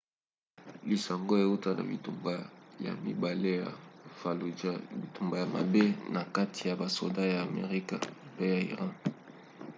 lisango euta na bitumba ya mibale ya fallujah bitumba ya mabe na kati ya basoda ya amerika mpe ya iran